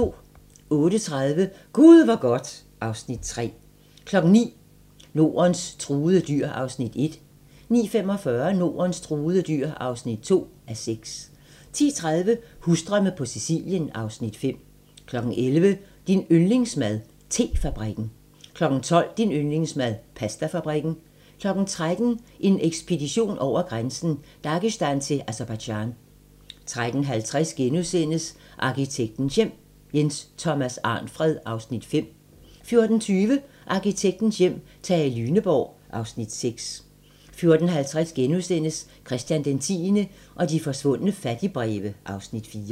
08:30: Gud hvor godt (Afs. 3) 09:00: Nordens truede dyr (1:6) 09:45: Nordens truede dyr (2:6) 10:30: Husdrømme på Sicilien (Afs. 5) 11:00: Din yndlingsmad: Te-fabrikken 12:00: Din yndlingsmad: Pastafabrikken 13:00: En ekspedition over grænsen: Dagestan til Aserbajdsjan 13:50: Arkitektens Hjem: Jens Thomas Arnfred (Afs. 5)* 14:20: Arkitektens hjem: Tage Lyneborg (Afs. 6) 14:50: Christian X og de forsvundne fattigbreve (Afs. 4)*